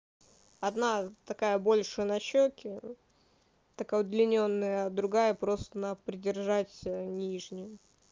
одна такая больше на щеки такая удлинённая другая просто на придержать нижнюю